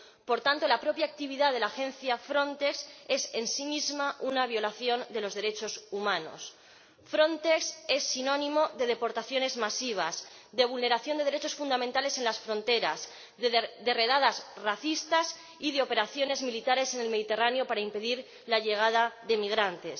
Por tanto, la propia actividad de la agencia Frontex es en sí misma una violación de los derechos humanos. Frontex es sinónimo de deportaciones masivas, de vulneración de derechos fundamentales en las fronteras, de redadas racistas y de operaciones militares en el Mediterráneo para impedir la llegada de inmigrantes.